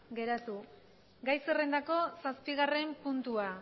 geratu gai zerrendako zazpigarren puntua